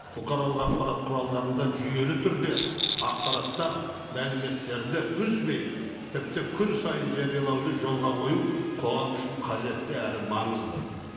бұқаралық ақпарат құралдарында жүйелі түрде ақпараттар мәліметтерді үзбей тіпті күн сайын жариялауды жолға қою қоғам үшін қажетті әрі маңызды